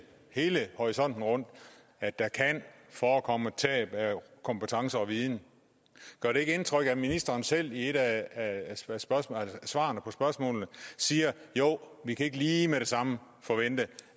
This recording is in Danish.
hele horisonten rundt at der kan forekomme tab af kompetence og viden gør det ikke indtryk at ministeren selv i et af svarene på spørgsmålene siger jo vi kan ikke lige med det samme forvente